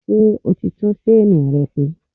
Ṣé o ti tún ṣéènì rẹ ṣe?